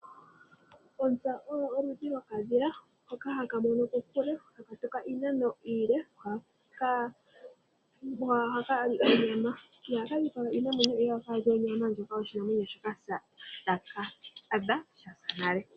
Ontsa oyo oludhi lwo kadhila hoka hakamono kokule takatuka iinano iile. Ko ohakali onyama ,iha kadhipaga iinamwenyo, ohakali onyama yo shinamwenyo shoka taka adha sha sa nale.